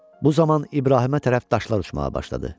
Bu zaman İbrahimə tərəf daşlar uçmağa başladı.